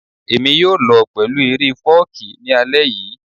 Èmi yóò lọ pẹ̀lú eré fọ́ọ̀kí ní alẹ́ yìí